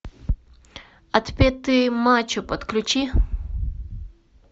отпетые мачо подключи